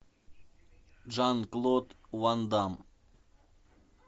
жан клод ван дамм